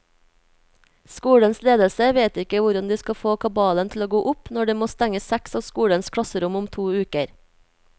Skolens ledelse vet ikke hvordan de skal få kabalen til å gå opp når de må stenge seks av skolens klasserom om to uker.